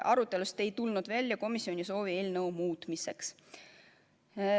Arutelust ei tulnud välja komisjoni soovi eelnõu muuta.